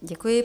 Děkuji.